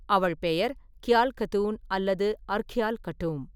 அவள் பெயர் கியால் கதூன் அல்லது அர்க்யால் கட்டூம்.